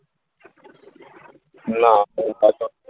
না .